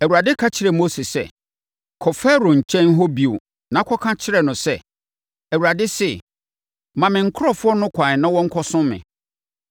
Awurade ka kyerɛɛ Mose sɛ, “Kɔ Farao hɔ bio na kɔka kyerɛ no sɛ, ‘ Awurade se, Ma me nkurɔfoɔ no ɛkwan na wɔnkɔsom me.